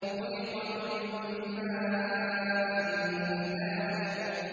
خُلِقَ مِن مَّاءٍ دَافِقٍ